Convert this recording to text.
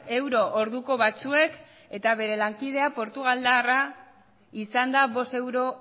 euro orduko batzuek eta bere lankidea portugaldarra izanda bost euro